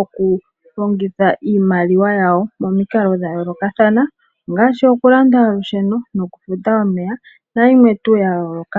okulongitha iimaliwa yawo momikalo dha yoolokathana ongaashi oku landa olusheno noku futa omeya nayimwe tuu ya yooloka.